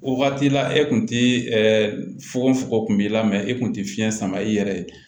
O waati la e kun ti ɛɛ fugofuko kun b'i la e kun te fiɲɛ sama i yɛrɛ ye